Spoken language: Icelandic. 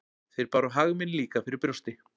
Þeir báru hag minn líka fyrir brjósti.